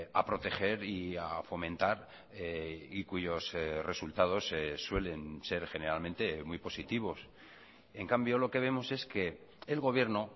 a proteger y a fomentar y cuyos resultados suelen ser generalmente muy positivos en cambio lo que vemos es que el gobierno